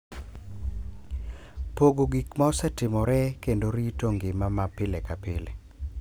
Pogo gik ma osetimore, kendo rito ngima ma pile ka pile,